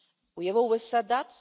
we have always said that